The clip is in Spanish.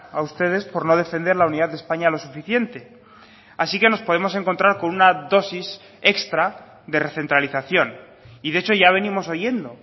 a ustedes por no defender la unidad de españa lo suficiente así que nos podemos encontrar con una dosis extra de recentralización y de hecho ya venimos oyendo